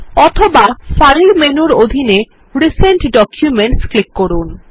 অথবা ফাইল মেনুর অধীনে রিসেন্ট ডকুমেন্টস ক্লিক করুন